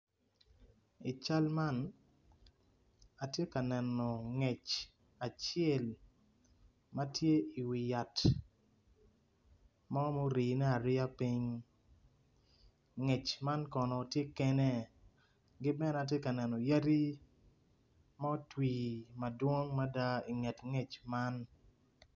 I cal man atye ka neno ngec acel ma tye i wi yat mo ma orine ariya piny ngec man kono tye kene ki bene atye kaneno yadi ma otwi madowng mada i nget ngec man.